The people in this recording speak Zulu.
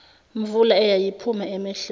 mvula eyayiphuma emehlweni